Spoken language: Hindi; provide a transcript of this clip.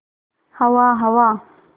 हवा हवा